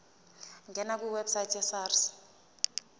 ngena kwiwebsite yesars